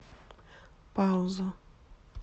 пауза